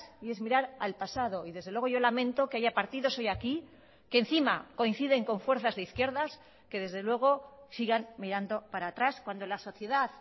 y es mirar al pasado y desde luego yo lamento que haya partidos hoy aquí que encima coinciden con fuerzas de izquierdas que desde luego sigan mirando para atrás cuando la sociedad